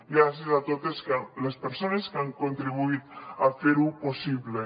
gràcies a totes les persones que han contribuït a fer ho possible